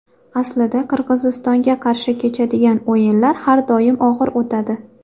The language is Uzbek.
Aslida Qirg‘izistonga qarshi kechadigan o‘yinlar har doim og‘ir o‘tadi.